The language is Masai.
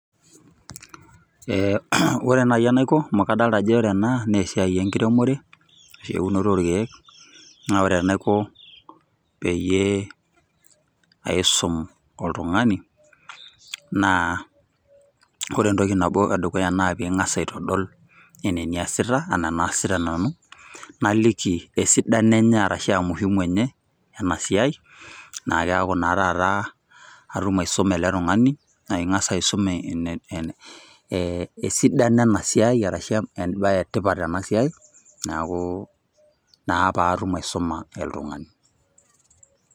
Eh ore nai enaiko amu kadolta ajo ore ena nesiai enkiremore, ashu eunoto orkeek, na ore enaiko peyie aisum oltung'ani, naa ore entoki nabo edukuya naa ping'asa aitodol enaa eniasita, anaa enaasita nanu, naliki esidano enye arashua muhimu enye, enasiai. Na keeku naa taata atum aisuma ele tung'ani, na ing'asa aisum e esidano enasiai arashu ebae etipat tenasiai, naaku naa patum aisuma oltung'ani.